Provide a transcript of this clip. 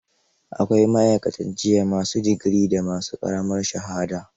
Akwai ma'aikatan jiyya ma su digiri da ma su ƙaramar shahada.